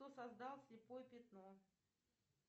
кто создал слепое пятно